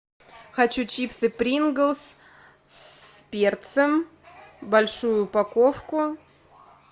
хочу чипсы принглс с перцем большую упаковку